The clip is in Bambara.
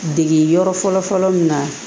Dege yɔrɔ fɔlɔfɔlɔ min na